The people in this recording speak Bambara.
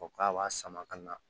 Fɔ k'a b'a sama ka na